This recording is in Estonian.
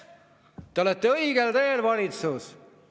Te olete õigel teel, valitsus!